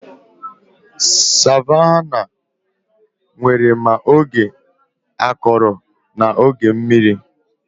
Savannahs nwere ma oge akọrọ na oge mmiri